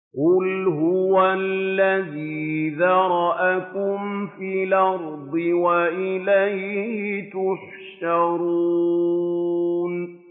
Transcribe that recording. قُلْ هُوَ الَّذِي ذَرَأَكُمْ فِي الْأَرْضِ وَإِلَيْهِ تُحْشَرُونَ